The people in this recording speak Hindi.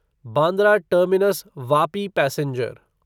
Bandra terminus Vapi passenger